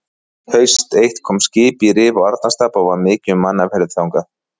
Haust eitt kom skip í Rif og Arnarstapa og var mikið um mannaferðir þangað.